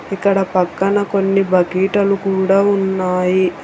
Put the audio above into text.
ఇక్కడ పక్కన కొన్ని బకెట్లు కూడా ఉన్నాయి.